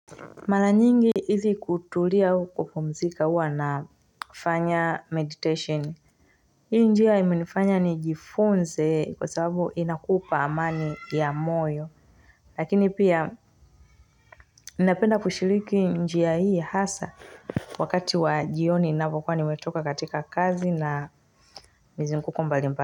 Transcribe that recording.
Mara nyingi izi kutulia au kupumzika huwa nafanya meditation hii njia imenifanya ni jifunze kwa sababu inakupa amani ya moyo lakini pia inapenda kushiriki njia hii hasa wakati wa jioni ninapokwa nimetoka katika kazi na mzinguko mbali mba.